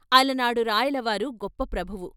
అలనాడు రాయలవారు గొప్ప ప్రభువు...